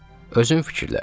Özün fikirləş.